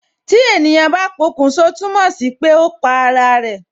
Tí ènìyàn bá pokun sọ, túmọ̀ sí pé ó pa ara rẹ